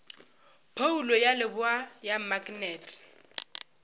phoulo ya leboa ya maknete